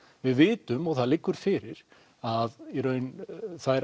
við vitum og það liggur fyrir að í raun þær